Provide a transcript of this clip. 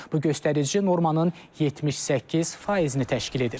Bu göstərici normanın 78%-ni təşkil edir.